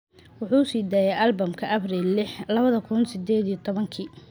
Wuxuu sii daayay albamka Abriil liix, lawadhi kun sideed iyo tobaanki